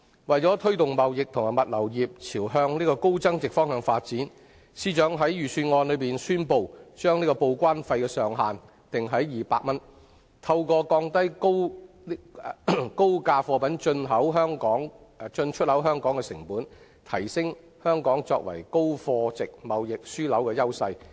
為了推動貿易及物流業朝向高增值發展，司長在財政預算案中宣布，將報關費的上限定於200元，藉以透過降低高價貨品進出口香港的成本，提升香港作為高貨值貿易樞紐的優勢。